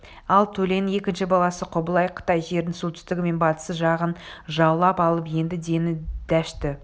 ал төленің екінші баласы құбылай қытай жерінің солтүстігі мен батыс жағын жаулап алып енді дені дәшті